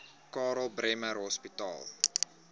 karl bremer hospitaal